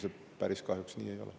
See kahjuks päris nii ei ole.